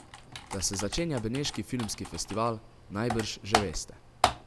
Da se začenja beneški filmski festival, najbrž že veste.